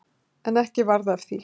En ekki varð af því.